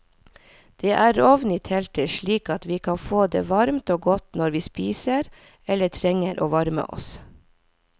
Det er ovn i teltet slik at vi kan få det varmt og godt når vi spiser eller trenger å varme oss.